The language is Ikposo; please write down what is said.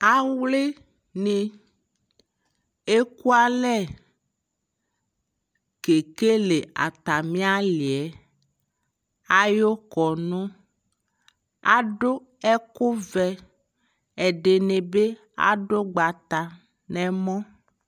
awli ni ɛkʋalɛ kɛkɛlɛ atami aliɛ ayʋ kɔnʋ, adʋ ɛkʋ vɛ, ɛdnibi adʋ ʋgbata bʋɛlɛ